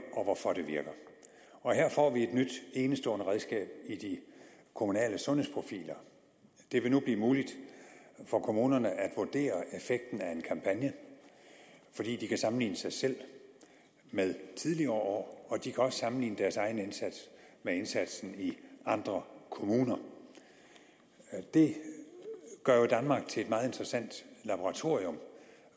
og hvorfor det virker og her får vi et nyt enestående redskab i de kommunale sundhedsprofiler det vil nu blive muligt for kommunerne at vurdere effekten af en kampagne fordi de kan sammenligne sig selv med tidligere år og de også kan sammenligne deres egen indsats med indsatsen i andre kommuner det gør jo danmark til et meget interessant laboratorium